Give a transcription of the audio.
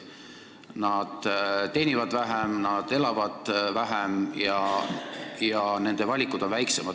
Nad teenivad vähem, nad elavad vähem ja nende valikud on väiksemad.